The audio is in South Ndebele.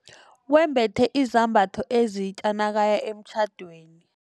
Wembethe izambatho ezitja nakaya emtjhadweni.